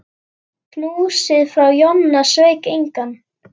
Knúsið frá Jonna sveik engan.